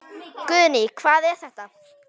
Guðný: Hvað er þetta?